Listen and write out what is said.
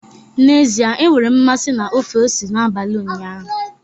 N'ezie, enwere m mmasị na ofe ose n'abalị ụnyaahụ